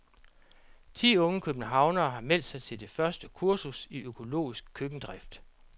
Ti unge københavnere har meldt sig til det første kursus i økologisk køkkendrift.